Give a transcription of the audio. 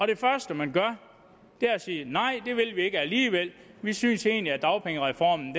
det første man gør er at sige nej det vil vi ikke alligevel vi synes egentlig dagpengereformen